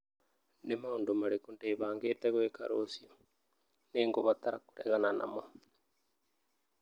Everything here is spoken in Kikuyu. Nĩ maũndũ marĩkũ ndĩbangĩte gwĩka rũciũ nĩ ngũbatara kũregana namo